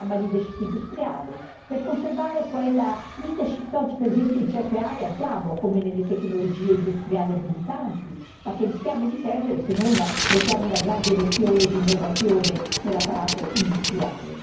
il programma leadership industriale, per conservare quella leadership che oggi per esempio in certe aree abbiamo come nelle tecnologie industriali abilitanti ma che rischiamo di perdere se non immettiamo una grande iniezione di innovazione nell'apparato industriale.